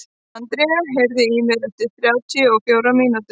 André, heyrðu í mér eftir þrjátíu og fjórar mínútur.